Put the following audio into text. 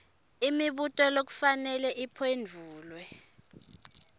imibuto lekufanele iphendvulwe